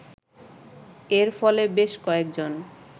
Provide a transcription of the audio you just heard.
এর ফলে বেশ কয়েকজন